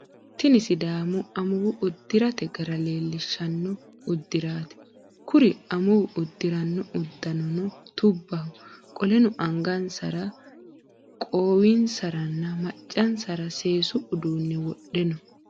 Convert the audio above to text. Tinni sidaamu amuuwu udirate gara leelishano udiraati. Kuri amuuwi udirino udunnano tubbaho. Qoleno angansara, qoowinsaranna maccansara seesu uduune wodhe no.